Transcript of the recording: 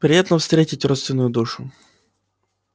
приятно встретить родственную душу